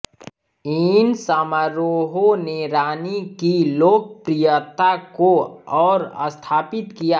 इन समारोहों ने रानी की लोकप्रियता को और स्थापित किया